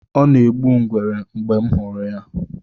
Ọ na-egbu ngwere mgbe m hụrụ ya